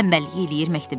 Tənbəllik eləyir,